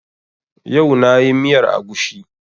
Yau na yi miyar agushi